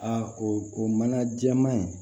o mana jɛma in